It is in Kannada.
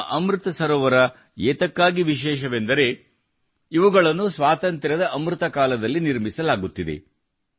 ನಮ್ಮ ಅಮೃತ ಸರೋವರ ಏತಕ್ಕಾಗಿ ವಿಶೇಷವೆಂದರೆ ಇವುಗಳನ್ನು ಸ್ವಾತಂತ್ರ್ಯದ ಅಮೃತ ಕಾಲದಲ್ಲಿ ನಿರ್ಮಿಸಲಾಗುತ್ತಿದೆ